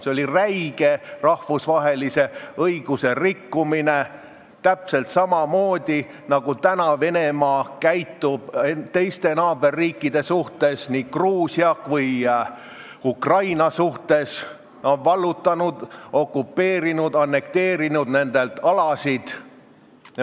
See oli räige rahvusvahelise õiguse rikkumine, täpselt samamoodi käitub Venemaa praegu oma teiste naaberriikidega, nii Gruusia kui ka Ukrainaga: ta on vallutanud, okupeerinud, annekteerinud nende alasid.